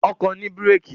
Ọkọ̀ ni bírèèkì.